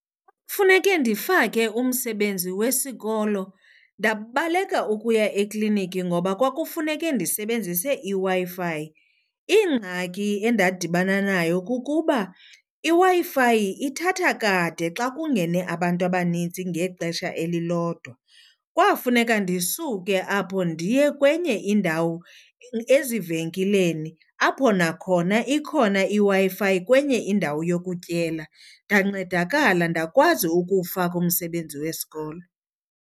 Kufuneke ndifake umsebenzi wesikolo, ndabaleka ukuya ekliniki ngoba kwakufuneke ndisebenzise iWi-Fi. Ingxaki endadibana nayo kukuba na iWi-Fi ithatha kade xa kungene abantu abanintsi ngexesha elilodwa. Kwafuneka ndisuke apho ndiye kwenye indawo ezivenkileni apho nakhona ikhona iWi-Fi kwenye indawo yokutyela, ndancedakala ndakwazi ukuwufaka umsebenzi wesikolo.